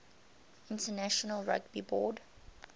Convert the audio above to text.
international rugby board